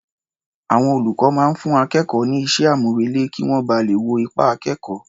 Àwọn olùkọ́ máa ń fún akẹ́kọ̀ọ́ ní iṣẹ́-àmúrelé kí wọ́n ba lè wo ipa akẹ́kọ̀ọ́.